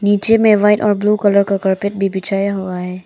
पीछे में व्हाइट और ब्लू कलर का कारपेट भी बिछाया हुआ है।